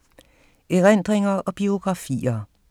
Erindringer og biografier